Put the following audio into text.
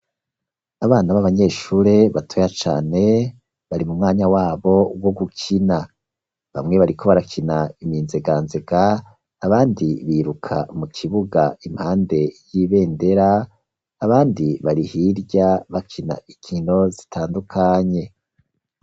abana b'abanyeshure batoya cane bari mu mwanya wabo wo gukina, bamwe bariko barakina iminzeganzega abandi biruka mu kibuga impande y'ibendera abandi bari hirya bakina inkino zitandukanye.